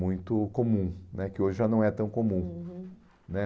muito comum né, que hoje já não é tão comum. Uhum. Né